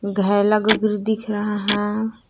घायला गुगरू दिख रहा है।